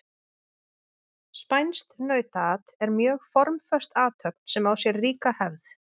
Spænskt nautaat er mjög formföst athöfn sem á sér ríka hefð.